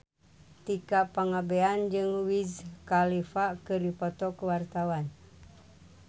Tika Pangabean jeung Wiz Khalifa keur dipoto ku wartawan